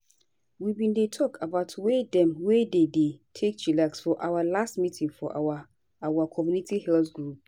we bin dey talk about way dem wey dem dey take chillax for our last meeting for our our community health group.